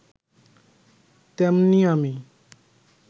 তেমনি আমি